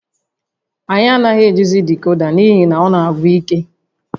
Anyị anaghị ejizi decoda n'ihi na ọ na-agwụ ike